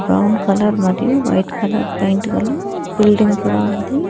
Brown colour మరియు white colour paint గల building కూడా ఉంది.